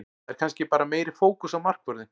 Það er kannski bara meiri fókus á markvörðinn.